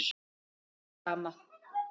Okkur er sama.